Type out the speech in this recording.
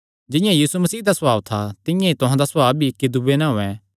जिंआं यीशु मसीह दा सभाव था तिंआं ई तुहां दा सभाव भी इक्की दूये नैं होयैं